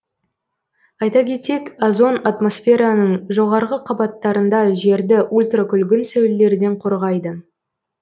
айта кетсек озон атмосфераның жоғарғы қабаттарында жерді ультракүлгін сәулелерден қорғайды